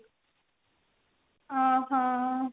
ଓଃ ହୋ